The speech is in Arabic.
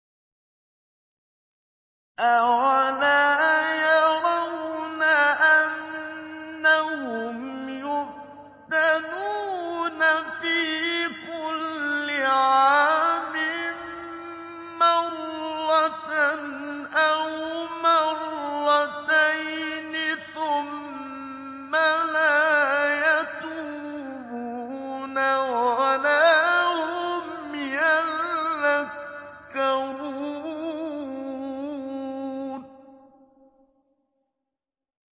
أَوَلَا يَرَوْنَ أَنَّهُمْ يُفْتَنُونَ فِي كُلِّ عَامٍ مَّرَّةً أَوْ مَرَّتَيْنِ ثُمَّ لَا يَتُوبُونَ وَلَا هُمْ يَذَّكَّرُونَ